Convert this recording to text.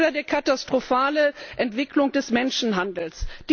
Oder die katastrophale Entwicklung des Menschenhandels.